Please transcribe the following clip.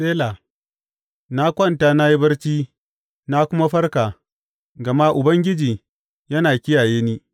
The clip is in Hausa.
Sela Na kwanta na yi barci; na kuma farka, gama Ubangiji yana kiyaye ni.